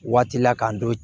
Waati la k'an to